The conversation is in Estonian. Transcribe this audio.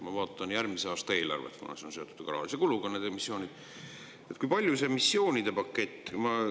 Ma vaatan järgmise aasta eelarvet, kuna need missioonid on seotud ju ka rahalise kuluga.